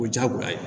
O diyagoya ye